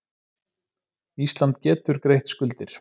Ísland getur greitt skuldir